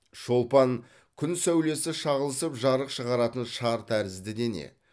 шолпан күн сәулесі шағылысып жарық шығаратын шар тәрізді дене